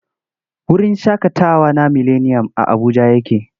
Wurin shaƙatawa na mileniyam a Abuja yake.